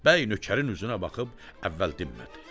Bəy nökərin üzünə baxıb əvvəl dinmədi.